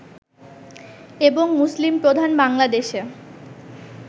এবং মুসলিম প্রধান বাংলাদেশে